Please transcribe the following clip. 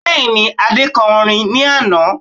Bẹ́ẹ̀ni, Adé kọ orin ní àná